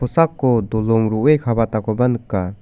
kosako dolong ro·e ka·batakoba nika.